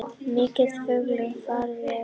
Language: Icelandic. Mikil fjölgun farþega